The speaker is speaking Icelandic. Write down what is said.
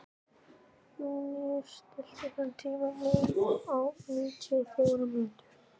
Júníus, stilltu tímamælinn á níutíu og fjórar mínútur.